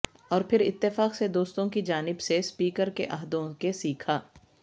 اور پھر اتفاق سے دوستوں کی جانب سے اسپیکر کے عہدوں کے سیکھا